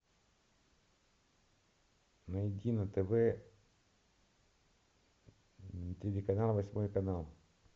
найди на тв телеканал восьмой канал